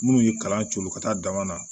Minnu ye kalan coolo ka taa dama na